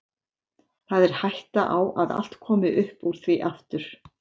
Það er hætta á að allt komi upp úr því aftur.